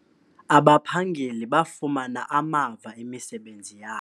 Abaphangeli bafumana amava emisebenzini yabo.